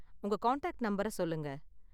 உங்க கான்டாக்ட் நம்பரை சொல்லுங்க.